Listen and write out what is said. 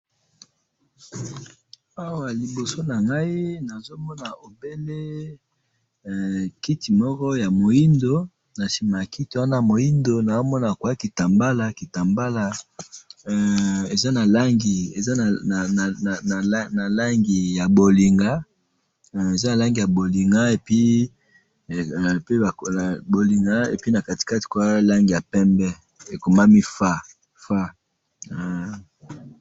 Awa liboso na ngayi nazomona obene kiti Moko ya muindo, na sima ya kiti Wana ya moindo naomona kwa kitambala, kitambala eeh Eza na Langi, Eza na langi ya bolinga, Eza na Langi ya bolinga et puis na katikati Langi ya pembe. Ekomami fa fa.